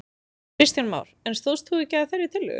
Kristján Már: En stóðst þú ekki að þeirri tillögu?